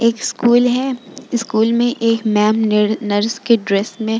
''एक स्कूल है | स्कूल में एक मैम नीर नर्स के ड्रेस में --''